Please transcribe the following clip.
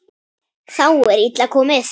Þá er illa komið.